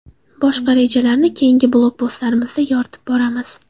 Boshqa rejalarni keyingi blogpostlarimizda yoritib boramiz.